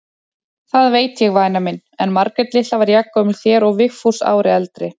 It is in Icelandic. Það veit ég væna mín, en Margrét litla er jafngömul þér og Vigfús ári eldri.